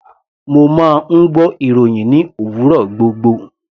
Mo máa ń gbọ́ ìròhìn ní òwúrọ̀ gbogbo.